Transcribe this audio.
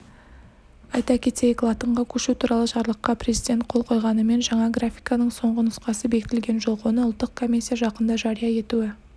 айта кетейік латынға көшу туралы жарлыққа президент қол қойғанымен жаңа графиканың соңғы нұсқасы бекітілген жоқ оны ұлттық комиссия жақында жария етуі